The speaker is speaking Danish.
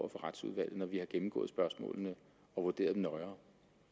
retsudvalget når vi har gennemgået spørgsmålene og vurderet dem nøjere